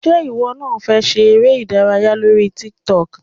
Ṣé ìwọ náà fẹ́ ṣe eré - ìdárayá lórí tiktok?